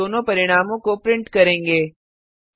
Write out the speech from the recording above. फिर हम दोनों परिणामों को प्रिंट करेंगे